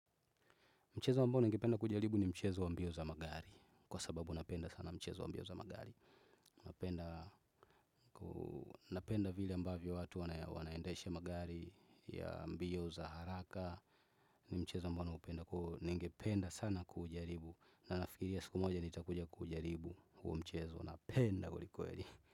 Mchezo ambao ningependa kujaribu ni mchezo wa mbio za magari. Kwa sababu napenda sana mchezo wa mbio za magari. Napenda. Napenda vile ambavyo watu wanaendesha magari ya mbio za haraka. Ni mchezo ambao naupenda ningependa sana kuujaribu. Na nafikiria siku moja nitakuja kuujaribu huo mchezo napenda kweli kweli.